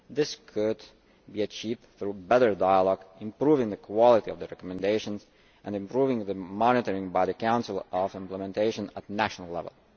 This could be achieved through better dialogue, improving the quality of the recommendations and improving the monitoring by the Council of implementation at national level.